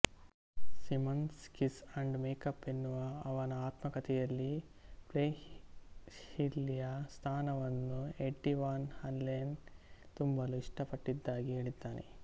Simmons Kiss and make up ಎನ್ನುವ ಅವನ ಆತ್ಮಕಥೆಯಲ್ಲಿ ಫ್ರೆಹ್ಲಿಯ ಸ್ಥಾನವನ್ನು ಎಡ್ಡಿ ವಾನ್ ಹಲೆನ್ ತುಂಬಲು ಇಷ್ಟಪಟ್ಟಿದಾಗಿ ಹೇಳಿದ್ದಾನೆ